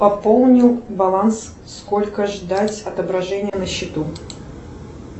пополнил баланс сколько ждать отображения на счету